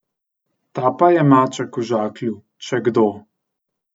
Ta pa je maček v žaklju, če kdo.